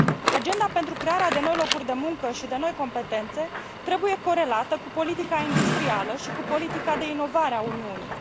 Agenda pentru crearea de noi locuri de muncă și de noi competențe trebuie corelată cu politica industrială și cu politica de inovare a Uniunii.